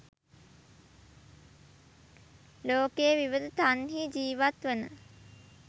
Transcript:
ලෝකයේ විවිධ තන්හි ජීවත්වන